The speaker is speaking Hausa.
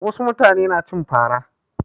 Wasu mutane na cin fa ra.